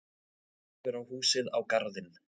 Horfir á húsið, á garðinn.